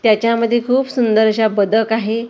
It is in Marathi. त्याच्यामध्ये खूप सुंदर अशा बदक आहे त्या स--